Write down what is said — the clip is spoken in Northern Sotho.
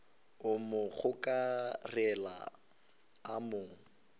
a mo gokarela a mo